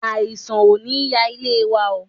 Àìsàn ò ní ya ilé wa oo.